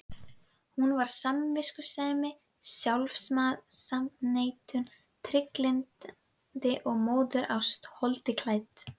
Hún var samviskusemi, sjálfsafneitun, trygglyndi og móðurást holdi klædd.